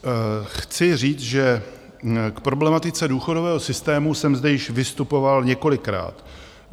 Chci říct, že k problematice důchodového systému jsem zde již vystupoval několikrát.